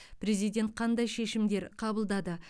президент қандай шешімдер қабылдады